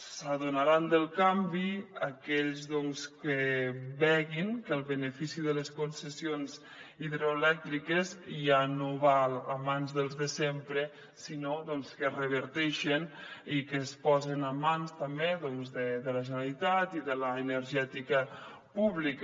s’adonaran del canvi aquells doncs que vegin que els beneficis de les concessions hidroelèctriques ja no va a mans dels de sempre sinó que es reverteixen i que es posen en mans també de la generalitat i de l’energètica pública